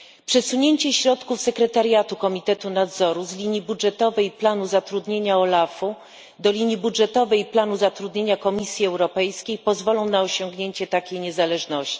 Przesunięcie środków sekretariatu Komitetu Nadzoru z linii budżetowej i planu zatrudnienia OLAF u do linii budżetowej i planu zatrudnienia Komisji Europejskiej pozwolą na osiągnięcie takiej niezależności.